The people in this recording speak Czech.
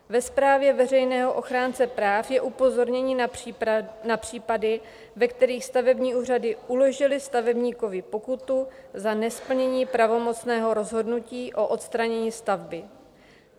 Ve zprávě veřejného ochránce práv je upozornění na případy, ve kterých stavební úřady uložily stavebníkovi pokutu za nesplnění pravomocného rozhodnutí o odstranění stavby.